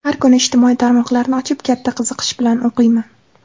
Har kuni ijtimoiy tarmoqlarni ochib, katta qiziqish bilan o‘qiyman.